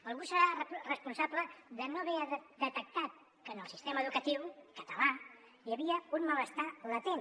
algú deu ser responsable de no haver detectat que en el sistema educatiu català hi havia un malestar latent